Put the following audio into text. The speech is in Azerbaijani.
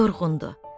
Yorğundu.